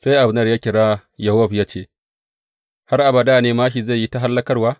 Sai Abner ya kira Yowab ya ce, har abada ne māshi zai yi ta hallakarwa?